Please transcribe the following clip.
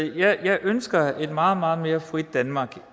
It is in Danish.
jeg ønsker et meget meget mere frit danmark